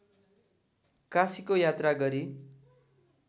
काशीको यात्रा गरी